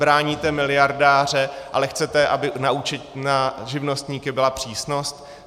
Bráníte miliardáře, ale chcete, aby na živnostníky byla přísnost?